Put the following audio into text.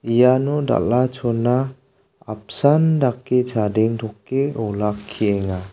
iano dal·a-chona apsan dake chadengtoke olakkienga.